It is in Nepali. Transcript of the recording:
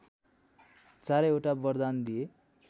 चारैवटा वरदान दिए